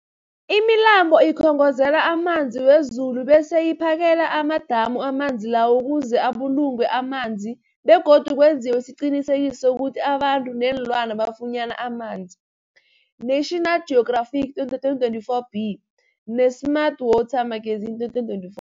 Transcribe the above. Imilambo ikhongozela amanzi wezulu bese iphakele amadamu amanzi lawo ukuze abulungwe amanzi begodu kwenziwe isiqiniseko sokuthi abantu neenlwana bafunyana amanzi, National Geographic 2024b, ne-Smart Water Magazine 2024.